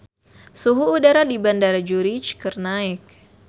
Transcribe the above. Suhu udara di Bandara Zurich keur naek